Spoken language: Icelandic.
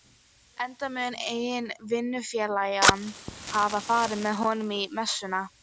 enda mun einn vinnufélaganna hafa farið með honum í messuna.